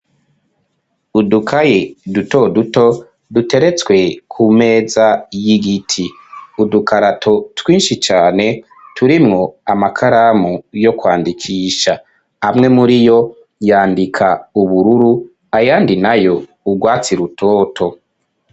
Udukaye duto duto duteretswe ku meza y'igiti udukarato twinshi cane turimwo amakaramu yo kwandikisha amwe muri yo yandika ubururu ayandi nayo urwatsi rutoto.